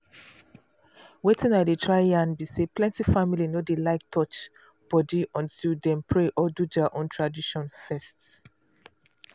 weytin i dey try yarn be say plenty family no dey like touch body until dem pray or do their own tradition first.